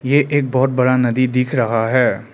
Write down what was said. यह एक बहुत बड़ा नदी दिख रहा है।